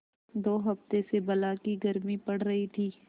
दो हफ्ते से बला की गर्मी पड़ रही थी